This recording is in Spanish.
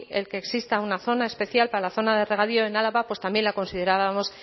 el que exista una zona especial para la zona de regadío en álava pues también la considerábamos